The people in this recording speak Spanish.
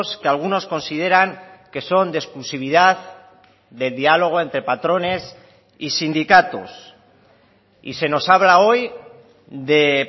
que algunos consideran que son de exclusividad de diálogo entre patrones y sindicatos y se nos habla hoy de